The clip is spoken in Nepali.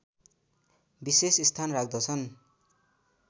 विशेष स्थान राख्दछन्